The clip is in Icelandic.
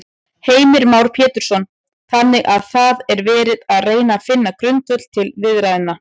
Heimir Már Pétursson: Þannig að það er verið að reyna finna grundvöll til viðræðna?